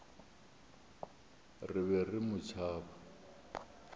re be re mo tšhaba